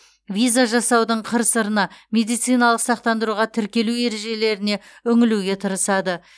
виза жасаудың қыр сырына медициналық сақтандыруға тіркелу ережелеріне үңілуге тырысады